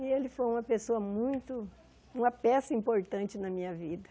E ele foi uma pessoa muito... Uma peça importante na minha vida.